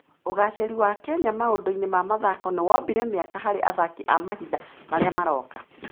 Ũgaacĩru wa Kenya maũndũ-inĩ ma mathako nĩ wombire mĩeke harĩ athaki a mahinda marĩa maroka.